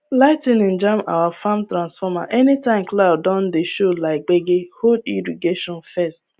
lightning jam our farm transformer anytime cloud don dey show like gbege hold irrigation first